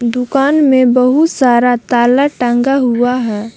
दुकान में बहुत सारा ताला टांगा हुआ है।